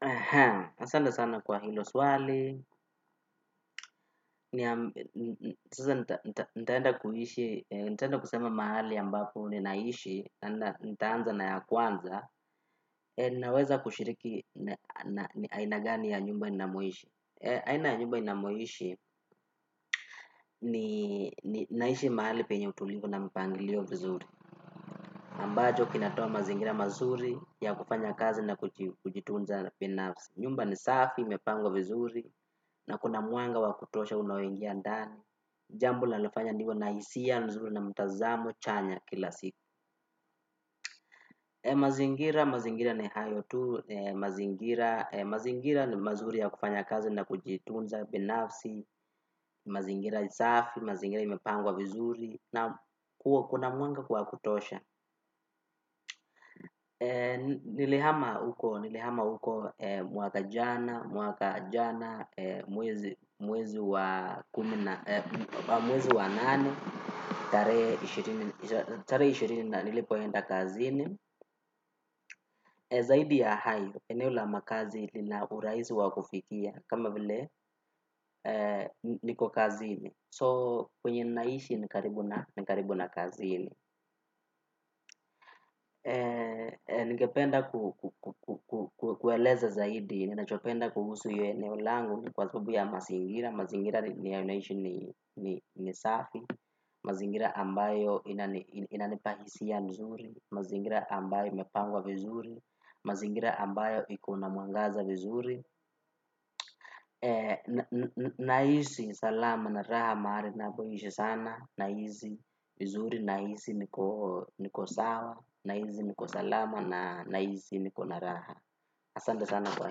Aha, asante sana kwa hilo swali, nitaenda kuishi, nitaenda kusema mahali ambapo ninaishi, nitaanza na ya kwanza, ninaweza kushiriki ni aina gani ya nyumba ninamoishi. Aina nyumba ninamoishi ni naishi mahali penye utulivu na mpangilio vizuri. Ambacho kinatoa mazingira mazuri ya kufanya kazi na kujitunza binafsi. Nyumba ni safi, imepangwa vizuri na kuna mwanga wa kutosha unaoingiandani. Jambo linalonifanya niwe na hisia, nzuri na mtazamo, chanya kila siku. Mazingira, mazingira ni hayo tu. Mazingira, mazingira ni mazuri ya kufanya kazi na kujitunza binafsi. Mazingira ni safi, mazingira imepangwa vizuri na kuna mwanga kwa kutosha nilihama huko mwaka jana mwaka jana, mwezi wa nane tare ishirini nilipoenda kazini zaidi ya hayo, eneo la makazi lina urahisi wa kufikia kama vile niko kazini So, kwenye ninaishi ni karibu na kazini. Ningependa kueleza zaidi. Ninachopenda kuhusu hiyo eneo langu ni kwa sababu ya mazingira. Mazingira ni ya naishi ni safi. Mazingira ambayo inanipa hisia mzuri. Mazingira ambayo imepangwa vizuri. Mazingira ambayo ikona mwangaza vizuri. Naishi, salamu na raha mahali ninapoishi sana. Nahisi, vizuri nahisi niko sawa, nahisi niko salama na nahisi niko na raha. Asante sana kwa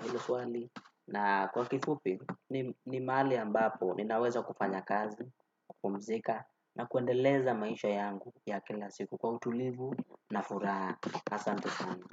hilo swali. Na kwa kifupi, ni mahali ambapo, ninaweza kufanya kazi, kupumzika, na kuendeleza maisha yangu ya kila siku kwa utulivu na furaha. Asante sana.